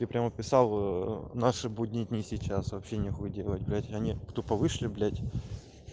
ты прямо писал наши будние дни сейчас вообще нехуй делать блять они тупо вышли блять